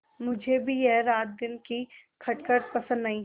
मुझे भी यह रातदिन की खटखट पसंद नहीं